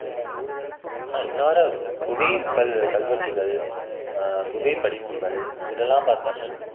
அதான் இன்னவரை குகை கல் கல்வெட்டுகள் ஆஹ் குகை படிவங்கள் இதுல எல்லாம் பார்த்தோம்னா